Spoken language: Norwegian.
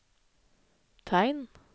tegn